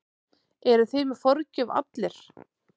Eruð þið með forgjöf allir?